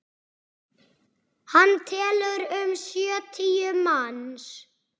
Hann telur um sjötíu manns.